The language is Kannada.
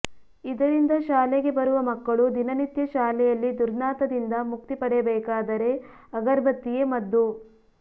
ಇದರಿಂದ ಶಾಲೆಗೆ ಬರುವ ಮಕ್ಕಳು ದಿನನಿತ್ಯ ಶಾಲೆಯಲ್ಲಿ ದುರ್ನಾಥದಿಂದ ಮುಕ್ತಿ ಪಡೆಯಬೇಕಾದರೆ ಅಗರ್ಬತ್ತಿಯೇ ಮದ್ದು